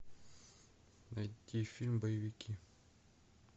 найти фильм боевики